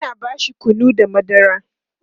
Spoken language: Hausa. Ina bashi kunu da madara